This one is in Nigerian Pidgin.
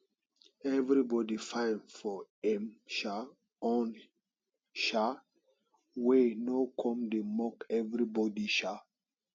everybody fine for em um own um way no come dey mock anybody um